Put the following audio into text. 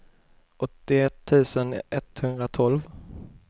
åttioett tusen etthundratolv